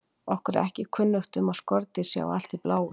Okkur er ekki kunnugt um að skordýr sjái allt í bláu.